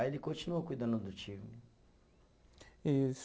Aí ele continuou cuidando do time. E